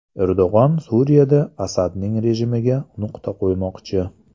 Erdo‘g‘on Suriyada Asadning rejimiga nuqta qo‘ymoqchi.